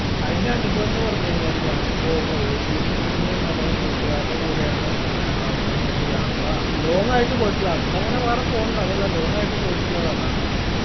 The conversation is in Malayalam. അയിന്റെ അനുഭവംന്ന് പറഞ്ഞ് കൈനാൽ ഞാനിപ്പോ office ൽ നിന്ന് നമ്മളെ കൂട്ട്കാരുടെ കൂടെയാണ് ഏർ അവസാനമായിട്ട് യാത്ര long ആയിട്ട് പോയിട്ടുള്ളത് അടുത്തങ്ങനെ വേറെ പോണ്ട് അതല്ല long ആയിട്ട് പോയിട്ടുള്ളത് അതാണ്